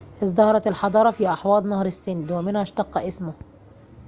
ازدهرت الحضارة في أحواض نهر السند ومنها اشتق اسمه